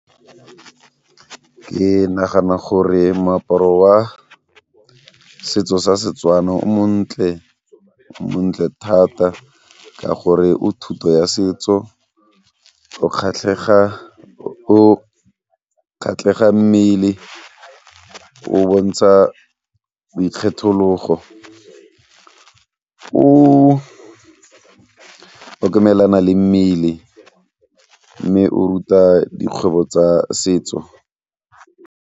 Ke nagana gore moaparo wa setso sa Setswana o montle, o montle thata ka gore o thuto ya setso, o kgatlhega, o kgatlhega mmele, o bontsha boikgethelogo, o le mmele mme o ruta dikgwebo tsa setso.